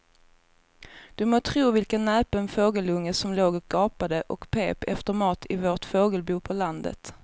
Du må tro vilken näpen fågelunge som låg och gapade och pep efter mat i vårt fågelbo på landet.